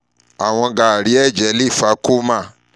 iwọn gaari ẹjẹ giga le fa coma